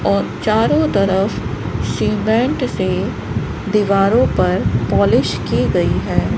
और चारों तरफ सीमेंट से दीवारों पर पॉलिश की गई है।